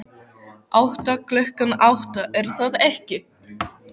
Átta, klukkan átta, er það ekki?